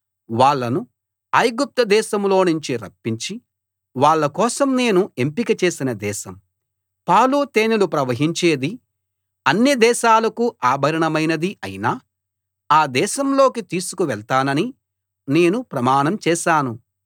వాళ్ళను ఐగుప్తు దేశంలోనుంచి రప్పించి వాళ్ళ కోసం నేను ఎంపిక చేసిన దేశం పాలు తేనెలు ప్రవహించేది అన్ని దేశాలకూ ఆభరణమైనది అయిన ఆ దేశంలోకి తీసుకు వెళ్తానని నేను ప్రమాణం చేశాను